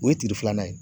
O ye tile filanan ye